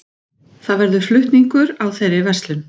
Það verður flutningur á þeirri verslun